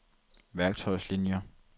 værktøjslinier